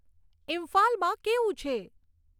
ઈમ્ફાલમાં કેવું છે